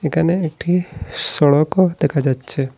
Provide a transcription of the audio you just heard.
এখানে একটি সড়কও দেখা যাচ্ছে।